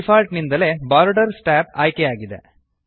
default ನಿಂದಲೇ borders tab ಆಯ್ಕೆ ಆಗಿದೆ